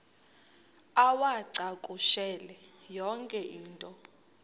uwacakushele yonke into